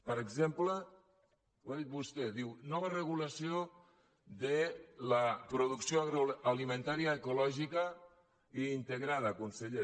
per exemple ho ha dit vostè diu nova regulació de la producció agroalimentària ecològica i integrada conseller